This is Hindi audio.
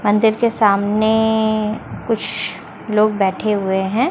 मंदिर के सामने कुछ लोग बैठे हुए हैं।